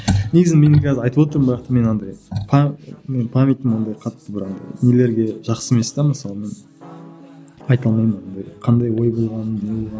негізі мен қазір айтып отырмын бірақ та менің андай памятім андай қатты бір андай нелерге жақсы емес те мысалы мен айта алмаймын андай қандай ой болғанын не болғанын